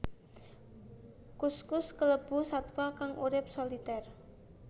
Kuskus kalebu satwa kang urip solitér